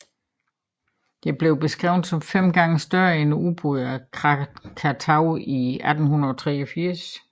Det er blevet beskrevet som fem gange større end udbruddet af Krakatau i 1883